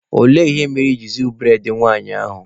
Olee ihe mere I jiri zuo bụredị nwanyị ahụ?